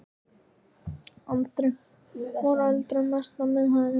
Andri: Var eldurinn mestur á miðhæðinni?